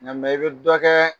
Nka i bi dɔ kɛ